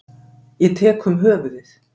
Ég tek um höfuðið.